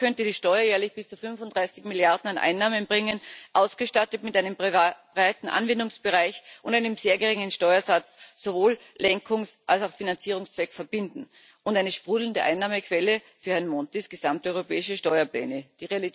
Dabei könnte die Steuer jährlich bis zu 35 Milliarden an Einnahmen bringen, ausgestattet mit einem breiten Anwendungsbereich und einem sehr geringen Steuersatz sowohl Lenkungs als auch Finanzierungszweck verbinden und eine sprudelnde Einnahmequelle für Herrn Montis gesamte europäische Steuerpläne sein.